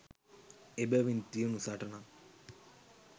එබැවින් තියුණු සටනක්